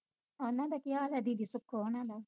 ਉਨ੍ਹਾਂ ਦਾ ਕੀ ਹਾਲ ਆ ਦੀਦੀ ਸੁਕੋ ਹੋਣਾ ਦਾ